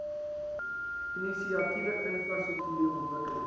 inisiatiewe infrastruktuur ontwikkeling